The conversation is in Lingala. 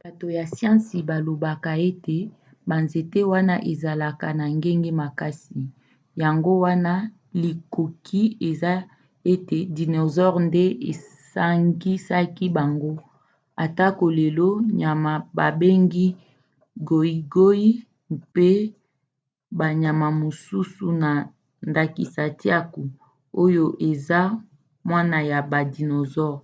bato ya siansi balobaka ete banzete wana ezalaka na ngenge makasi yango wana likoki eza te ete dinosaure nde esangisaki bango atako lelo nyama babengi goigoi mpe banyama mosusu na ndakisa tiaku oyo eza mwana ya ba dinosaures